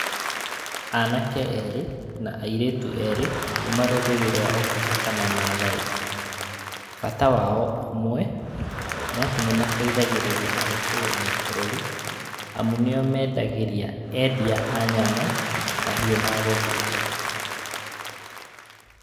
Anake erĩ, na airĩtu erĩ kuuma rũrĩrĩ rwa ũkabi kana maathai. Bata wao ũmwe, nĩ atĩ nĩ mateithagĩrĩria harĩ kũhũnia bũrũrĩ, amu nĩo meendagĩrĩa endia a nyama, mahiũ magũthĩnja.